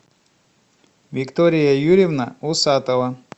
виктория юрьевна усатова